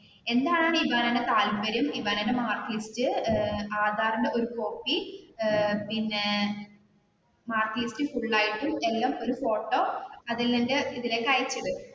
എന്താണ് ഇബാനയുടെ താല്പര്യം ഇബാനയുടെ മാർക്ക് ലിസ്റ്റ് ഏർ ആധാറിന്റെ ഒരു കോപ്പി ഏർ പിന്നെ ഇതിലേക്ക് അയച്ചിട്